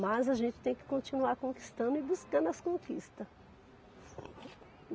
Mas a gente tem que continuar conquistando e buscando as conquistas.